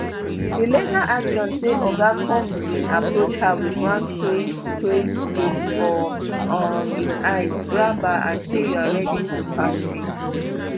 di legal action say oga combs bin approach her wit one crazed crazed look for um im eyes grab her and say you are ready to party